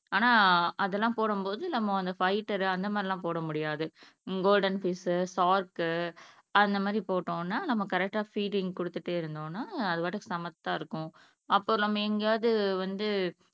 ஆனா அதெல்லாம் நம்ம போடும்போது நம்ம அந்த ஃபைட்டர் அந்த மாதிரி எல்லாம் போட முடியாது கோல்டன் ஃபிஷ், ஷார்க் அந்த மாதிரி போட்டோம்னா நம்ம கரெக்டா ஃபீடிங் குடுத்துட்டே இருந்தோம்னா அது பாட்டுக்கு சமத்தா இருக்கும் அப்போ நம்ம எங்கேயாவது வந்து